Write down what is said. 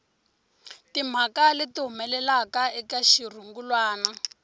timhaka leti humelelaka eka xirungulwana